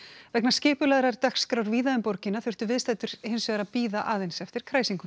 vegna skipulagðrar dagskrár víða um borgina þurftu viðstaddir hinsvegar að bíða aðeins eftir kræsingunum